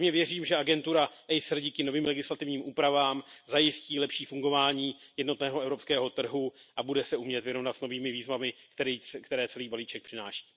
Pevně věřím, že agentura ACER díky novým legislativním úpravám zajistí lepší fungování jednotného evropského trhu a bude se umět vyrovnat s novými výzvami, které celý balíček přináší.